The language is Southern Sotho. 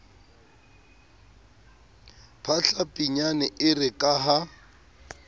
phahla pinyane ere ka ha